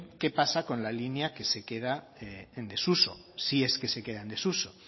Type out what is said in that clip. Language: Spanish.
qué pasa con la línea que se queda en desuso si es que se queda en desuso